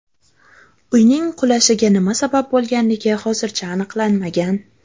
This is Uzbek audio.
Uyning qulashiga nima sabab bo‘lganligi hozircha aniqlanmagan.